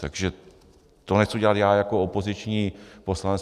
Takže to nechci dělat já jako opoziční poslanec.